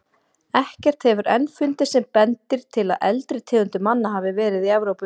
Ekkert hefur enn fundist sem bendir til að eldri tegundir manna hafi verið í Evrópu.